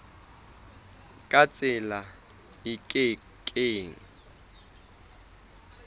ka tsela e ke keng